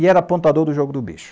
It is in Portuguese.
E era pontuador do jogo do bicho.